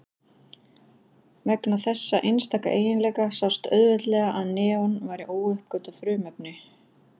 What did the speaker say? Vegna þessa einstaka eiginleika sást auðveldlega að neon væri óuppgötvað frumefni.